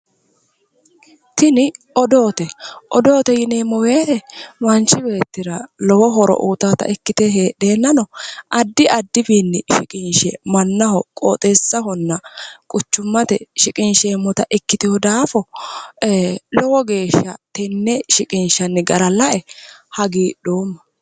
Tini odoote. Odoote yineemmo woyite manchi beettira lowo horo uyitaata ikkite heedheennano addi addiwiinni shiqinshe mannaho qooxeessahonna quchummate shiqinsheemmota ikkitewo daafo lowo geeshsha tenne shiqinshanni gara lae hagiidhoomma.